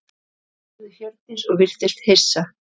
spurði Hjördís og virtist hissa.